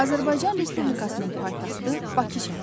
Azərbaycan Respublikasının paytaxtı Bakı şəhəridir.